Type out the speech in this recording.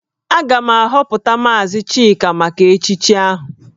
Aga m ahọpụta maazị Chika maka echichi ahụ